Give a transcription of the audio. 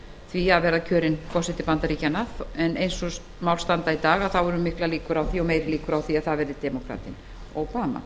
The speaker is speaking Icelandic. því að verða kjörinn forseti bandaríkjanna en eins og mál standa í dag eru meiri líkur á að það verði demókratinn obama